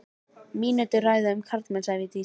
Mínútu ræða um karlmenn, sagði Vigdís.